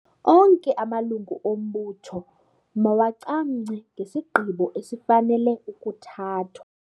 Onke amalungu ombutho mawacamngce ngesigqibo esifanele ukuthathwa.